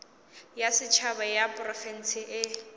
ya setšhaba ya diprofense e